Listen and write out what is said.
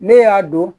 Ne y'a don